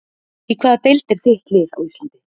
Í hvaða deild er þitt lið á Íslandi?